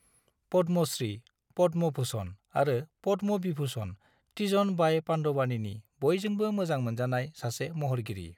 पद्मश्री, पद्म भूषण आरो पद्म विभूषण तीजन बाई पांडवानीनि बयजोंबो मोजां मोनजानाय सासे महरगिरि।